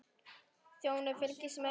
Þjóðin fylgist með.